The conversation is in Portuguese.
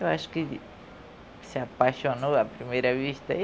Eu acho que se apaixonou à primeira vista.